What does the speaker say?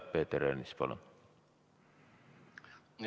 Peeter Ernits, palun!